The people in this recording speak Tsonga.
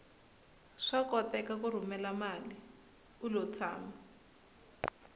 swa koteka ku rhumela mali ulo tshama